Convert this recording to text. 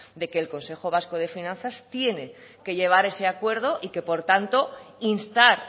de que el consejo vasco de finanzas tiene que llevar ese acuerdo y que por tanto instar